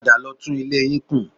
Padà lọ tún ilé yìí kùn